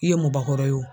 I ye mɔbakura ye o